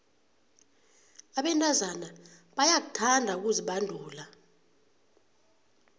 abentazana bayakuthanda ukuzibandula